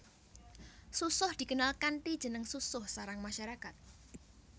Susoh dikenal kanthi jeneng susoh sarang masyarakat